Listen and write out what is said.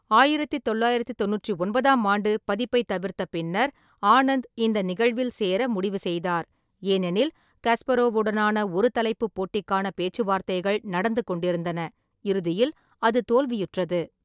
ஆயிரத்தி தொள்ளாயிரத்தி தொண்ணூற்றி ஒன்பதாம் ஆண்டு பதிப்பைத் தவிர்த்த பின்னர் ஆனந்த் இந்த நிகழ்வில் சேர முடிவு செய்தார், ஏனெனில் கஸ்பரோவுடனான ஒரு தலைப்புப் போட்டிக்கான பேச்சுவார்த்தைகள் நடந்து கொண்டிருந்தன, இறுதியில் அது தோல்வியுற்றது.